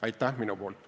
Aitäh!